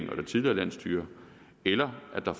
det tidligere landsstyre eller der